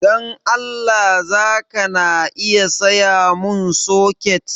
Dan Allah zaka na iya sayamun soket?